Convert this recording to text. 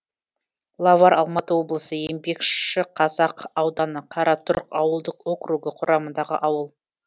лавар алматы облысы еңбекшіқазақ ауданы қаратұрық ауылдық округі құрамындағы ауыл